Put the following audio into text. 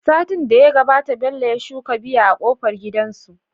Satin da ya gabata Bello ya shuka biya a kofar gidansu